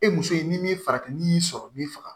E muso ye ni farafin ni y'i sɔrɔ min faga